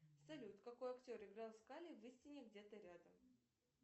салют какой актер играл скалли в истине где то рядом